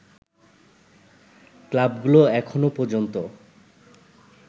ক্লাবগুলো এখনো পর্যন্ত